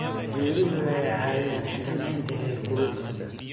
Geeduhu waxay caawiyaan xakamaynta heerkulka.